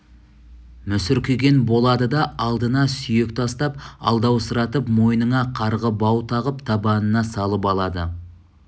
мүсіркеген болады да алдына сүйек тастап алдаусыратып мойныңа қарғы бау тағып табанына салып алады